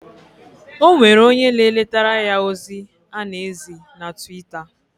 Onwere onye na eletara ya ozi ana ezi na Twitter.